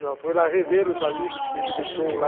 Já foi lá rever os amigos que ele deixou lá.